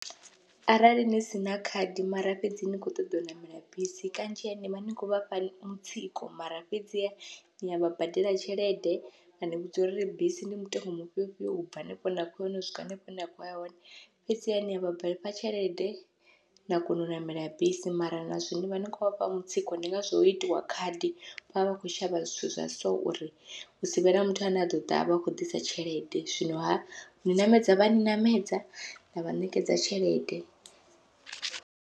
Arali ni sina khadi mara fhedzi ni kho ṱoḓa u ṋamela bisi kanzhi ni vha ni khou vha fha mutsiko, mara fhedzi ni avha badela tshelede vha ni vhudza uri bisi ndi mutengo mufhio fhio ubva hanefho hafhanoni u swika hanefho hune na khou ya hone, fhedziha nia vhafha tshelede na kona u ṋamela bisi mara na zwone nivha ni khou vhafha mutsiko ndi ngazwo ho itiwa khadi vhavha vha khou shavha zwithu zwa so, uri hu sivhe na muthu ane a ḓoḓa avha a khou ḓisa tshelede zwino ha uni ṋamedza vha yani ṋamedza na vha ṋekedza tshelede.